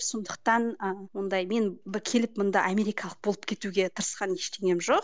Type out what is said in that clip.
сондықтан ы ондай мен келіп мұнда америкалық болып кетуге тырысқан ештеңем жоқ